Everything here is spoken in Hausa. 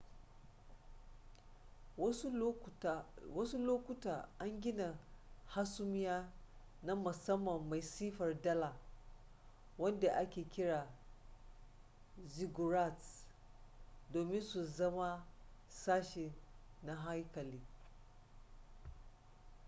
wasu lokuta an gina hasumiya na musamman mai siffar dala wanda ake kira ziggurats domin su zama sashi na haikali